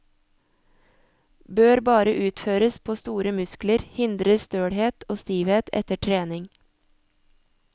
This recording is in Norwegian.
Bør bare utføres på store muskler, hindrer stølhet og stivhet etter trening.